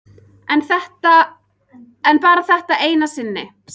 En bara þetta eina sinn.